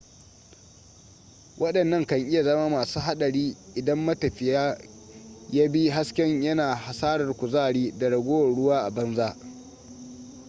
waɗannan kan iya zama masu haɗari idan matafiyin ya bi hasken yana hasarar kuzari da ragowar ruwa a banza